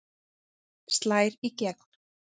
Slær í gegn